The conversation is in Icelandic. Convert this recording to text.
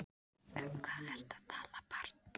Um hvað ertu að tala barn?